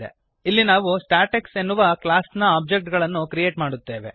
ಇಲ್ಲಿ ನಾವು ಸ್ಟಾಟೆಕ್ಸ್ ಎನ್ನುವ ಕ್ಲಾಸ್ ನ ಒಬ್ಜೆಕ್ಟ್ ಗಳನ್ನು ಕ್ರಿಯೇಟ್ ಮಾಡುತ್ತೇವೆ